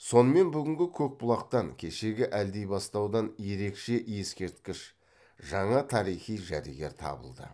сонымен бүгінгі көкбұлақтан кешегі әлдибастаудан ерекше ескерткіш жаңа тарихи жәдігер табылды